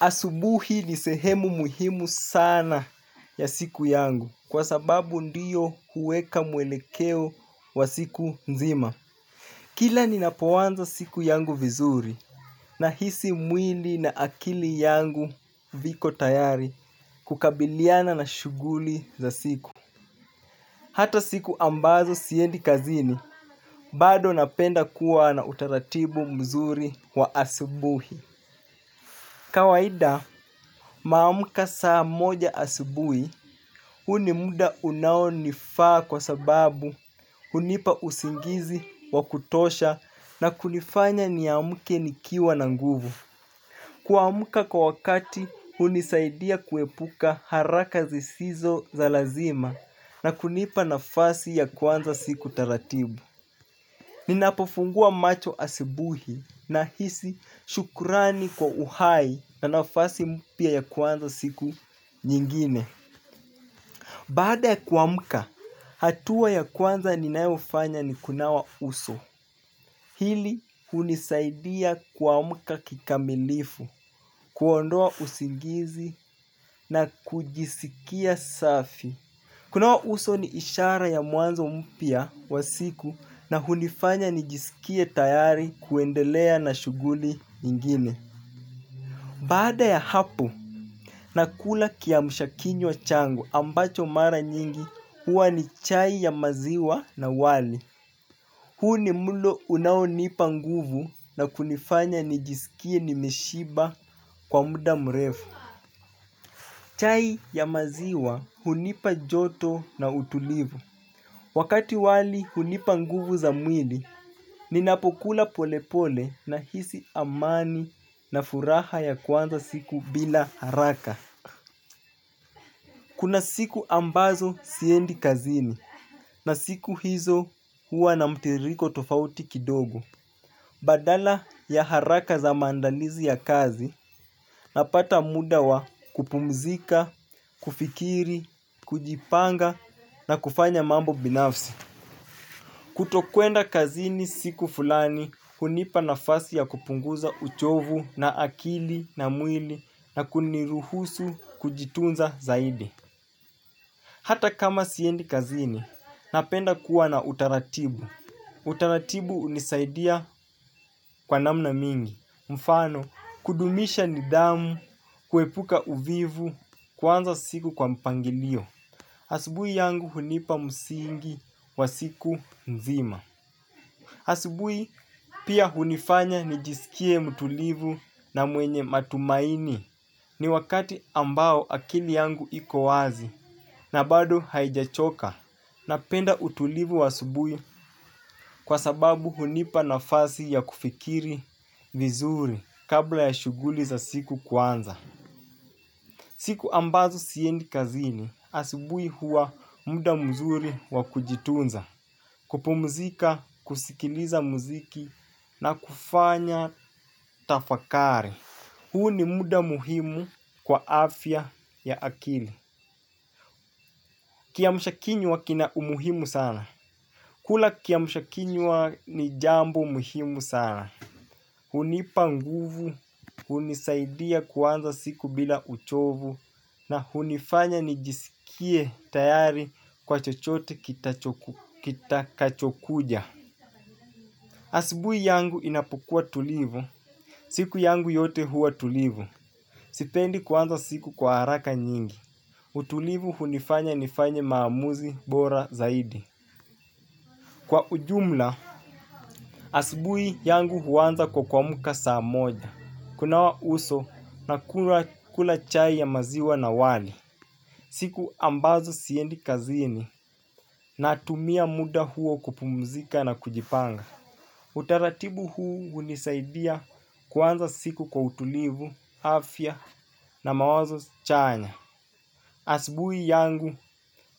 .Asubuhi ni sehemu muhimu sana siku yangu kwa sababu ndiyo huweka mwelekeo wa siku nzima. Kila ni napoanza siku yangu vizuri nahisi mwli na akili yangu viko tayari kukabiliana na shughuli za siku. Hata siku ambazo siendi kazini, bado napenda kuwa na utaratibu mzuri wa asubuhi. Kawaida naamka saa moja asubuhi huu ni muda unaonifaa kwa sababu hunipa usingizi, wakutosha na kunifanya niamke nikiwa na nguvu. Kuamka kwa wakati hunisaidia kuepuka haraka zisizo za lazima na kunipa nafasi ya kuanza siku taratibu. Ninapofungua macho asubuhi na hisi shukurani kwa uhai na nafasi mpya ya kuanza siku nyingine. Baada ya kuamka, hatua ya kwanza ninayofanya ni kunawa uso. Hili unisaidia kuamka kikamilifu, kuondoa usingizi na kujisikia safi. Kunawa uso ni ishara ya mwanzo mpya wa siku na hunifanya nijisikie tayari kuendelea na shughuli ingine. Baada ya hapo, nakula kiamsha kinywa changu ambacho mara nyingi huwa ni chai ya maziwa na wali. Huu ni mlo unaonipa nguvu na kunifanya nijisikie nimeshiba kwa muda mrefu. Chai ya maziwa hunipa joto na utulivu. Wakati wali hunipa nguvu za mwili, ninapokula polepole na hisi amani na furaha ya kuanza siku bila haraka. Kuna siku ambazo siendi kazini na siku hizo huwa na mtiriko tofauti kidogo. Badala ya haraka za maandalizi ya kazi, napata muda wa kupumzika, kufikiri, kujipanga na kufanya mambo binafsi. Kutokwenda kazini siku fulani, hunipa nafasi ya kupunguza uchovu wa akili na mwili na kuniruhusu kujitunza zaidi. Hata kama siendi kazini, napenda kuwa na utaratibu. Utaratibu hunisaidia kwa namna mingi. Mfano, kudumisha nidhamu, kuepuka uvivu kuanza siku kwa mpangilio asubuhi yangu hunipa msingi wa siku nzima. Asubuhi pia hunifanya nijisikie mtulivu na mwenye matumaini ni wakati ambao akili yangu ikowazi na bado haijachoka. Napenda utulivu wa asubui kwa sababu hunipa na fasi ya kufikiri vizuri kabla ya shughuli za siku kwanza. Siku ambazo siendi kazini asubuhi huwa muda mzuri wa kujitunza. Kupumzika, kusikiliza muziki na kufanya tafakari. Huu ni muda muhimu kwa afya ya akili. Kiamsha kinywa kina umuhimu sana. Kula kiamsha kinywa ni jambo muhimu sana. Hunipa nguvu, hunisaidia kuanza siku bila uchovu, na hunifanya nijisikie tayari kwa chochote kitakachokuja. Asubuhi yangu inapokuwa tulivu, siku yangu yote huwa tulivu. Sipendi kuanza siku kwa haraka nyingi. Utulivu hunifanya nifanye maamuzi bora zaidi. Kwa ujumla, asubuhi yangu huanza kwa kuamka saa moja. Kunawa uso nakula chai ya maziwa na wali. Siku ambazo siendi kazini natumia muda huo kupumzika na kujipanga. Utaratibu huu unisaidia kuanza siku kwa utulivu, afya na mawazo chanya. Asubuhi yangu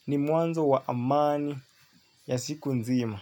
ni mwanzo wa amani ya siku nzima.